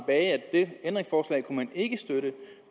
det ændringsforslag kunne man ikke støtte